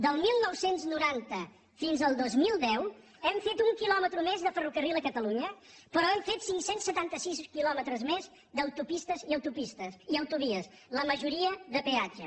del dinou noranta fins al dos mil deu hem fet un quilòmetre més de ferrocarril a catalunya però hem fet cinc cents i setanta sis quilòmetres més d’autopistes i autovies la majoria de peatge